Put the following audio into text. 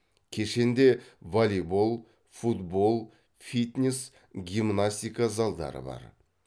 кешенде волейбол футбол фитнес гимнастика залдары бар